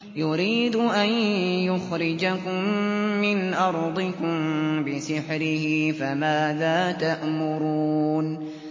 يُرِيدُ أَن يُخْرِجَكُم مِّنْ أَرْضِكُم بِسِحْرِهِ فَمَاذَا تَأْمُرُونَ